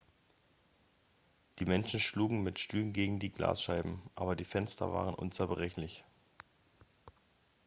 die menschen schlugen mit stühlen gegen die glasscheiben aber die fenster waren unzerbrechlich